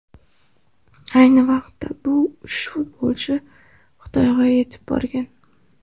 Ayni vaqtda bu uch futbolchi Xitoyga yetib borgan .